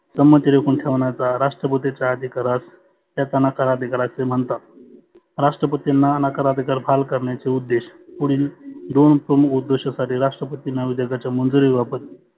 सम्मती रोखुन ठेवण्याचा राष्ट्रपतीचा अधिकार अस त्यास नकार अधिकार असे म्हणतात. राष्ट्रपतींना नकार अधिकार बहाल करण्याचे उद्देश पुढिल दोन प्रमुख दुद्देशासाठी राष्ट्रपतींना विधेयकाच्या मंजुरी बाबत